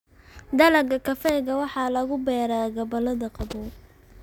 Dalagga kafeega waxaa lagu beeraa gobollada qabow.